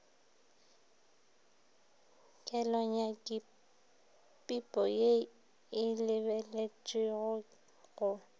kelonyakipipo ye e lebeletpego go